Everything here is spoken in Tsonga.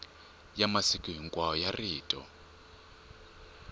ya masiku hinkwawo ya rito